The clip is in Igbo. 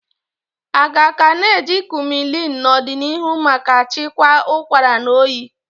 Aga ka na eji Kumullin n'odinihu maka chịkwaa ụkwara na oyi.